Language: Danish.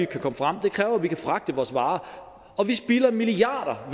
kan komme frem og det kræver at vi kan fragte vores varer vi spilder milliarder